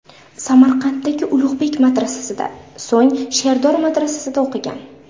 Samarqanddagi Ulug‘bek madrasasida, so‘ng Sherdor madrasasida o‘qigan.